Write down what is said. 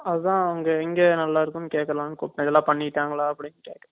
அதான் அங்க எங்க நல்லா இருக்கும் னு கேக்கலாம் னு கூப்பிட்டேன் இதெல்லாம் பண்ணிட்டாங்கள